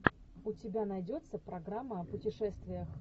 у тебя найдется программа о путешествиях